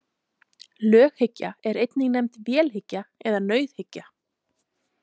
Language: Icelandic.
Löghyggja er einnig nefnd vélhyggja eða nauðhyggja.